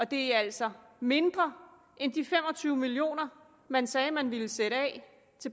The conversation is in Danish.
det er altså mindre end de fem og tyve million kr man sagde man ville sætte